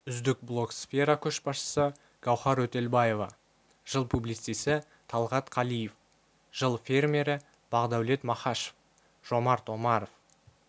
үздік блогсфера көшбасшы гауіар өтелбаева жыл публицисі талғат қалиев жыл фермері бақдәулет маіашов жомарт омаров